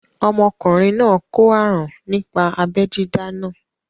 Ọmọkùnrin náà kó àrùn nípa abẹ́ dídá náà